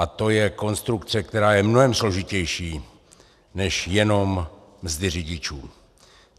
A to je konstrukce, která je mnohem složitější než jenom mzdy řidičů.